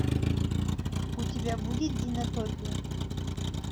у тебя будет динотопия